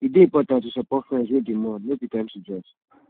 e dey important to support friends wey dey mourn no be time to judge